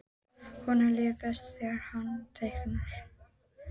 Honum líður best þegar hann teiknar.